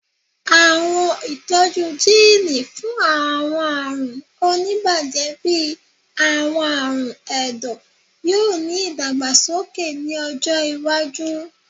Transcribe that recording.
Awọn itọju jiini fun awọn arun onibaje bii awọn arun ẹdọ yoo ni idagbasoke ni ọjọ iwaju